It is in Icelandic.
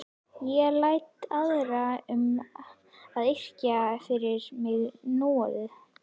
Ég læt aðra um að yrkja fyrir mig núorðið.